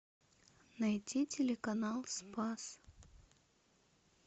найти телеканал спас